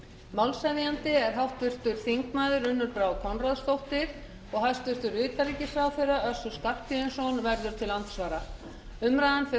málshefjandi er háttvirtur þingmaður unnur brá konráðsdóttir og hæstvirtur utanríkisráðherra össur skarphéðinsson verður til andsvara umræðan fer